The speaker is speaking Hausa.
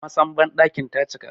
Masan bandakin ta cika